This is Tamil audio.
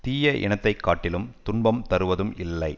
தீய இனத்தை காட்டிலும் துன்பம் தருவதும் இல்லை